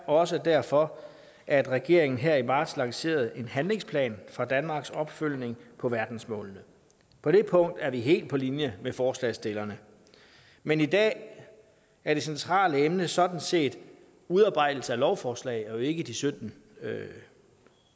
også derfor at regeringen her i marts lancerede en handlingsplan for danmarks opfølgning på verdensmålene på det punkt er vi helt på linje med forslagsstillerne men i dag er det centrale emne sådan set udarbejdelse af lovforslag og ikke de sytten